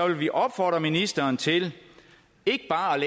vi opfordre ministeren til ikke bare at